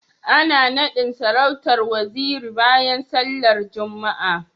Ana nadin sarautar Waziri bayan sallar Juma'a